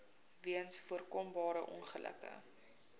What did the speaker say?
weens voorkombare ongelukke